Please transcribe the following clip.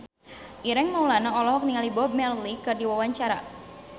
Ireng Maulana olohok ningali Bob Marley keur diwawancara